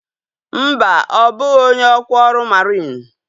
Mba, ọ bụghị onye ọkwa ọrụ mariin